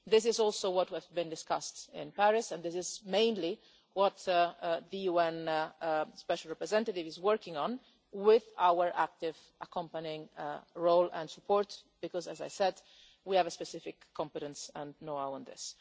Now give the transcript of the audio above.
This is also what has been discussed in Paris and this is mainly what the UN Special Representative is working on with our active accompanying role and support because, as I said, we have a specific competence and know how in this.